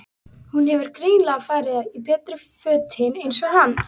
Hún hefur greinilega farið í betri fötin eins og hann.